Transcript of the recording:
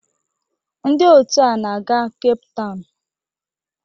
Ndị otu a na-aga Cape Town